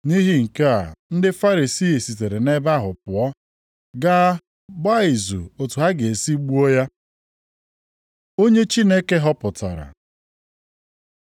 Nʼihi nke a ndị Farisii sitere nʼebe ahụ pụọ, ga gbaa izu otu ha ga-esi gbuo ya. Onye Chineke họpụtara